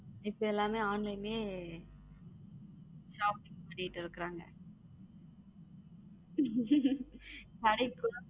இப்ப எல்லாம online shopping பண்ணிட்டு இருக்காங்க